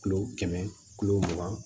Kilo kɛmɛ kilo mugan